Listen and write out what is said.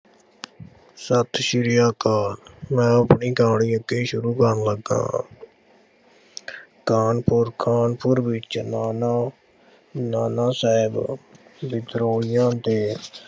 ਸਤਿ ਸ੍ਰੀ ਅਕਾਲ ਮੈਂ ਆਪਣੀ ਕਹਾਣੀ ਅੱਗੇ ਸ਼ੁਰੂ ਕਰਨ ਲੱਗਾ। ਖਾਨਪੁਰ- ਖਾਨਪੁਰ ਵਿੱਚ ਨਾਨਾ ਨਾਨਾ ਸਾਹਿਬ ਵਿਦਰੋਹੀਆਂ ਦੇ